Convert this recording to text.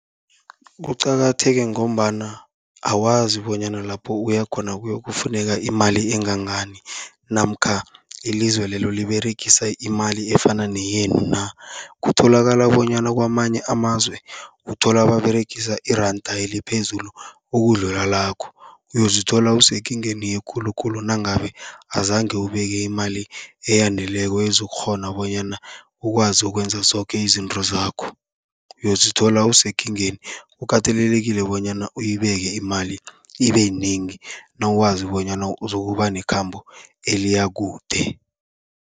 Kuqakatheke ngombana awazi bonyana lapho uya khona kuyokufuneka imali engangani namkha ilizwe lelo liberegisa imali efana neyenu na. Kutholakala bonyana kamanye amazwe, uthola baberegisa iranda eliphezulu ukudlula lakho, uyozithola usekingeni ekhulukhulu nangabe azange ubeke imali eyaneleko ekukghona bonyana ukwazi ukwenza zoke izinto zakho, uyozithola usekingeni. Kukatelelekile bonyana uyibeke imali ibe yinengi, nawazi bonyana uzokuba nekhambo eliya kude.